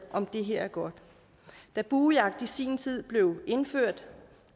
om det her er godt da buejagt i sin tid blev indført